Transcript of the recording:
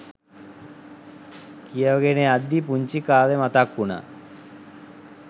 කියවගෙන යද්දි පුන්චි කාලෙ මතක් උනා